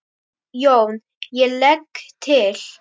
JÓN: Ég legg til.